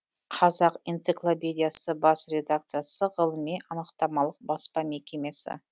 қазақ энциклопедиясы бас редакциясы ғылыми анықтамалық баспа мекемесі